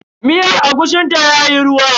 Miyar agushin ta yayi ruwa.